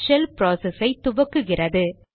shell process ஐ துவக்குகிறது